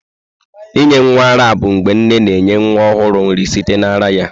Inye nwa ara bụ mgbe nne na-enye nwa ọhụrụ nri site na ara ya.